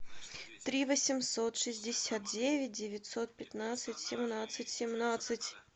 три восемьсот шестьдесят девять девятьсот пятнадцать семнадцать семнадцать